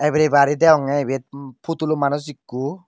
bere bari deong ebet potolu manus ikko.